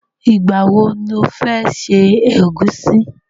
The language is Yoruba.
Ìgbà wo lo fẹ́ ṣe ẹ̀gúsí?